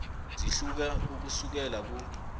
zihluka ukusukela ku